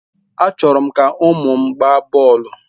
Achọrọ m ka ụmụ m gbaa bọọlụ.